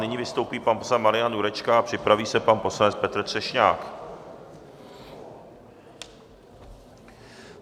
Nyní vystoupí pan poslanec Marian Jurečka a připraví se pan poslanec Petr Třešňák.